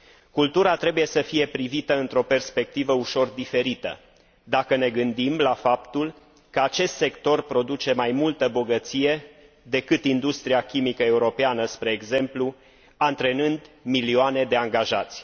Cultura trebuie să fie privită într o perspectivă ușor diferită, dacă ne gândim la faptul că acest sector produce mai multă bogăție decât industria chimică europeană, spre exemplu, antrenând milioane de angajați.